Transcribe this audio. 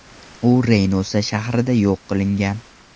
U Reynosa shahrida yo‘q qilingan.